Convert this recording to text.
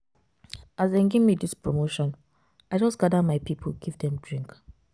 As dem gemme dis promotion, I just gather my pipu give dem drink.